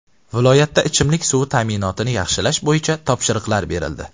Viloyatda ichimlik suvi ta’minotini yaxshilash bo‘yicha topshiriqlar berildi.